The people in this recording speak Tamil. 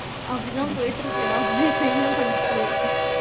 அப்படி தான் போயிட்டு எல்லாமே என்ன பண்றது.